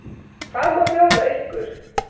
Hvað má bjóða ykkur?